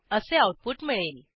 असे आऊटपुट मिळेल